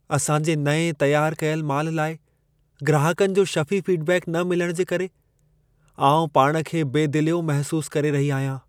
असां जे नएं तयारु कयल माल लाइ ग्राहकनि जो शफ़ी फीडबैक न मिलण जे करे, आउं पाण खे बेदिलियो महसूसु करे रही आहियां।